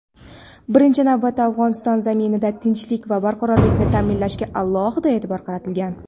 birinchi navbatda Afg‘oniston zaminida tinchlik va barqarorlikni ta’minlashga alohida e’tibor qaratilgan.